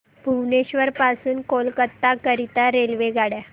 भुवनेश्वर पासून कोलकाता करीता रेल्वेगाड्या